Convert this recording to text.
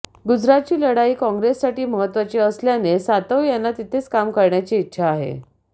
गुजरातची लढाई काँग्रेससाठी महत्त्वाची असल्याने सातव यांना तिथेच काम करण्याची इच्छा आहे